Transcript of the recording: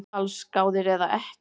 Allsgáðir eða ekki